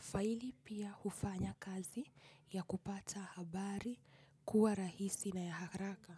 faili pia hufanya kazi ya kupata habari kuwa rahisi na ya haraka.